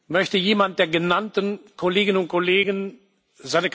Möchte jemand der genannten Kolleginnen und Kollegen seine bzw.